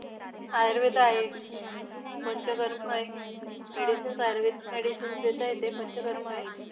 आयुर्वेद आहे पंचकर्मय, medicines Ayurvedic medicines देता येते, पंचकर्मय.